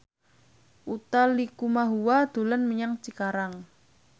Utha Likumahua dolan menyang Cikarang